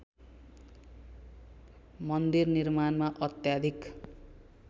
मन्दिरनिर्माणमा अत्याधिक